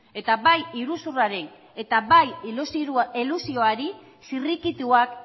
eta bai iruzurraren eta bai elusioari zirrikituak